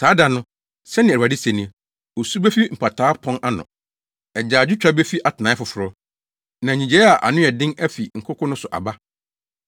“Saa da no,” sɛnea Awurade se ni, “Osu befi Mpataa Pon ano, agyaadwotwa befi Atenae Foforo na nnyigyei a ano yɛ den afi nkoko no so aba.